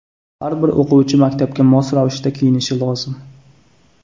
Har bir o‘quvchi maktabga mos ravishda kiyinishi lozim.